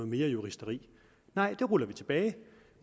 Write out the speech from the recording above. mere juristeri nej det ruller vi tilbage